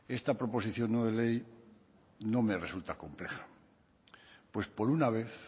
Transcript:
esta proposición no de ley no me resulta compleja pues por una vez